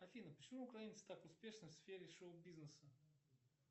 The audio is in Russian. афина почему украинцы так успешны в сфере шоу бизнеса